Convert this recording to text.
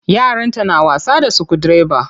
Yaranta na wasa da sukudireba.